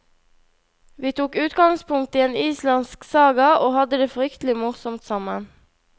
Vi tok utgangspunkt i en islandsk saga og hadde det fryktelig morsomt sammen.